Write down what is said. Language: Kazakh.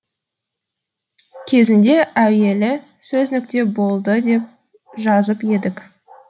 кезінде әуелі сөз нүкте болды деп жазып едік